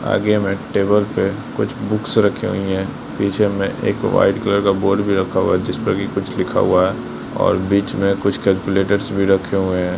आगे में टेबल पर कुछ बुक्स रखे हुए है पीछे में एक वाइट कलर बोर्ड भी रखा हुआ है जिस पर कुछ लिखा हुआ है और बीच में कुछ कैलकुलेटर्स भी रखे हुए है।